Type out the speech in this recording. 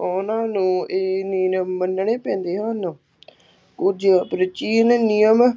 ਉਹਨਾ ਨੂੰ ਇਹ ਨਿਯਮ ਮੰਨਣੇ ਪੈਂਦੇ ਹਨ ਕੁੱਝ ਪ੍ਰਾਚੀਨ ਨਿਯਮ